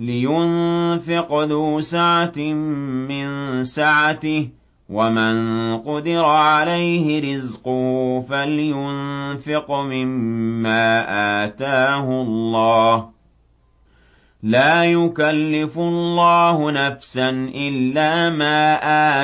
لِيُنفِقْ ذُو سَعَةٍ مِّن سَعَتِهِ ۖ وَمَن قُدِرَ عَلَيْهِ رِزْقُهُ فَلْيُنفِقْ مِمَّا آتَاهُ اللَّهُ ۚ لَا يُكَلِّفُ اللَّهُ نَفْسًا إِلَّا مَا